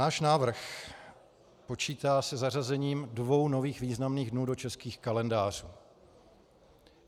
Náš návrh počítá se zařazením dvou nových významných dnů do českých kalendářů.